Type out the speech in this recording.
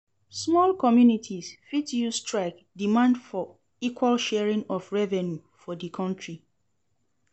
small communities fit use strike demand for equal sharing of revenue for di counrty